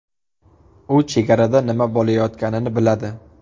U chegarada nima bo‘layotganini biladi.